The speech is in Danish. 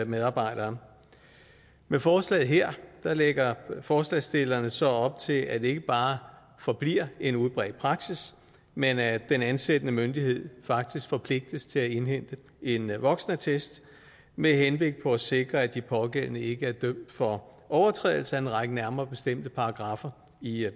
medarbejdere med forslaget her lægger forslagsstillerne så op til at det ikke bare forbliver en udbredt praksis men at den ansættende myndighed faktisk forpligtes til at indhente en voksenattest med henblik på at sikre at de pågældende ikke er dømt for overtrædelse af en række nærmere bestemte paragraffer i